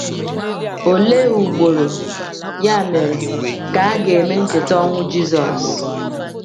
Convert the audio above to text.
Olee ugboro, ya mere, ka a ga-eme ncheta ọnwụ Jisọs?